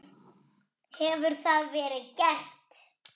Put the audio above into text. Hefur það verið gert?